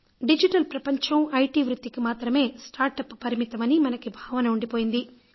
digital ప్రపంచం IT వృత్తికి మాత్రమే స్టార్ట్ అప్ పరిమితం అని మనకు ఒక భావన ఉండిపోయింది